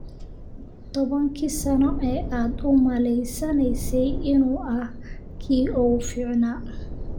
Tobankii sano ee aad u malaynaysay inuu ahaa kii ugu fiicnaa?